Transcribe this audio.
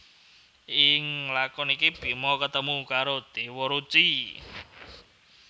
Ing lakon iki Bima ketemu karo Déwa Ruci